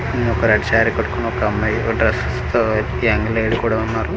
కింద ఒక రెడ్ శారీ కట్టుకొని ఒక అమ్మాయి ఒక డ్రాసెస్ తో యంగ్ లేడి కూడా ఉన్నారు.